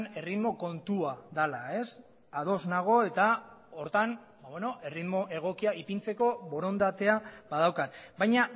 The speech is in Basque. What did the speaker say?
erritmo kontua dela ez ados nago eta horretan erritmo egokia ipintzeko borondatea badaukat baina